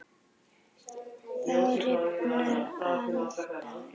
Þá rifnar aldan upp.